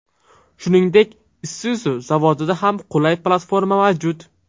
Shuningdek, Isuzu zavodida ham qulay platforma mavjud.